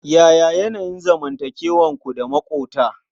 Yaya yanayin zanmantakewarku da maƙota?